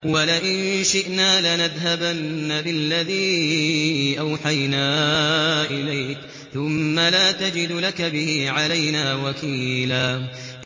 وَلَئِن شِئْنَا لَنَذْهَبَنَّ بِالَّذِي أَوْحَيْنَا إِلَيْكَ ثُمَّ لَا تَجِدُ لَكَ بِهِ عَلَيْنَا وَكِيلًا